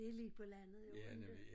Det lige på landet jo inte